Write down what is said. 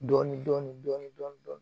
Dɔɔnin dɔɔnin dɔɔnin dɔɔnin